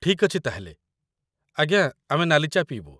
ଠିକ୍ ଅଛି ତା' ହେଲେ, ଆଜ୍ଞା, ଆମେ ନାଲି ଚା' ପିଇବୁ ।